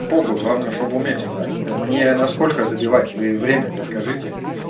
по хуй главное чтобы уметь играть мне насколько забивать вы время-то скажите